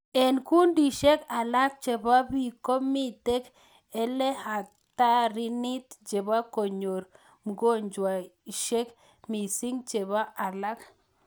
Ek kundishek alak cheboo biik komitek eghatarinit cheboo konyor mugojweshek misik cheboo alak.